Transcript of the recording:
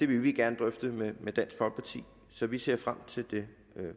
vil vi gerne drøfte med dansk folkeparti så vi ser frem til det